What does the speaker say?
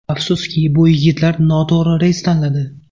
Afsuski, bu yigitlar noto‘g‘ri reys tanladi.